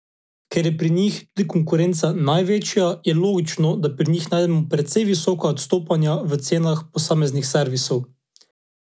Ker je pri njih tudi konkurenca največja, je logično, da pri njih najdemo precej visoka odstopanja v cenah posameznih servisov.